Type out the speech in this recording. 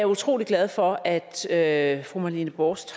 utrolig glad for at at fru marlene borst